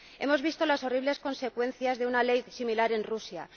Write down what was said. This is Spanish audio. Hemos visto las horribles consecuencias de una ley similar en Rusia.